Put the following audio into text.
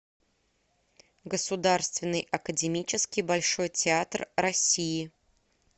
государственный академический большой театр россии